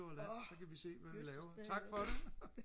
åh jøsses da